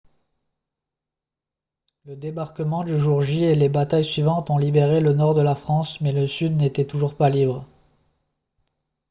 le débarquement du jour j et les batailles suivantes ont libéré le nord de la france mais le sud n'était toujours pas libre